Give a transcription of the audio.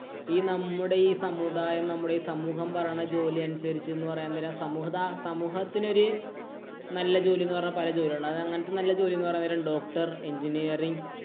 ഈ നമ്മുടെ ഈ സമുദായം, നമ്മുടെ ഈ സമൂഹം പറയുന്നത് ജോലി അനുസരിച്ച് എന്ന് പറയണതെന്തിനാ. സമുദ സമൂഹത്തിനൊരു നല്ല ജോലി എന്ന് പറഞ്ഞാ പല ജോലി ഉണ്ട്. അത് അങ്ങനത്തെ നല്ല ജോലി എന്ന് പറയണത് doctor, engineering